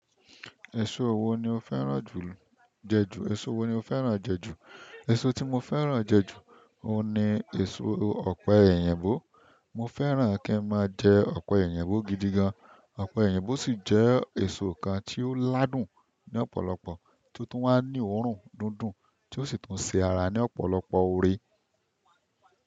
Eso wo ni o fẹ́ràn jẹ ju? Èso tí mo fẹ́ràn jẹ ju, òun ni èso ọ̀pẹ̀ eyìnbo. Mo fẹ́ràn kí n máa jẹ ọ̀pẹ̀eyìnbo gidi gan. Ọ̀pẹ̀eyìnbo sì jẹ́ èso kan tí ó ládùn ní ọ̀pọ̀lọpọ̀, tí ó tún wá ní òórùn dundùn, tí ó sì tún ṣe ara ní ọ̀pọ̀lọpọ̀ oore.